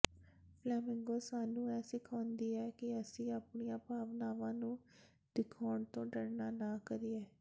flamingo ਸਾਨੂੰ ਇਹ ਸਿਖਾਉਂਦਾ ਹੈ ਕਿ ਅਸੀਂ ਆਪਣੀਆਂ ਭਾਵਨਾਵਾਂ ਨੂੰ ਦਿਖਾਉਣ ਤੋਂ ਡਰਨਾ ਨਾ ਕਰੀਏ